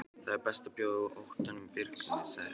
Það er best að bjóða óttanum birginn, sagði Hermann.